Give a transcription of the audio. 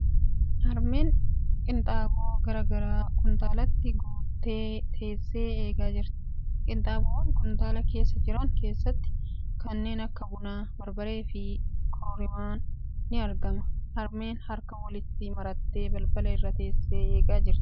Harmeen qinxaaboo gara garaa kuntaalatti guuttee teessee eegaa jirti. Qinxaaboowwan kuntaala keessa jiran keessatti kanneen akka bunaa, barbaree fi kororimaan ni argama. Harmeen harka walitti marattee balbala irra teessee eegaa jirti.